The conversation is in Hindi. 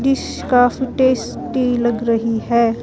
काफी टेस्टी लग रही है।